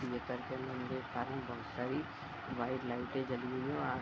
ये करके हम देख पा रहे हैं कि बोहत सारी व्हाइट लाइटें जली हुई हैं और --